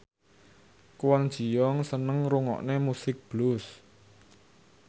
Kwon Ji Yong seneng ngrungokne musik blues